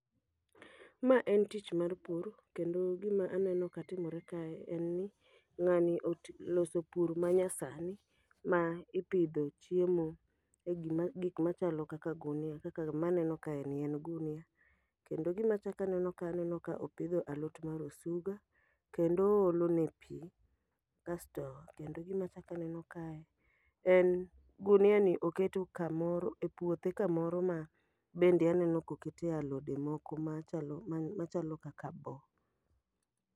Ma en tich mar pur, kendo gima aneno ka timore kae en ni ng'ani oloso pur ma nya sani ma ipidho chiemo e gi gik machalo kaka gunia, kaka maneno kae ni en gunia. Kendo gima achaka neno ka aneno ka opidho alot mar osuga, kendo oolo ne pi. Kasto kendo gima chakaneno ka en gunia ni oketo kamoro e puothe kamoro ma bende aneno kokete alode moko machalo ma chalo kaka bo.